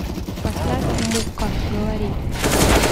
поставь мукка говори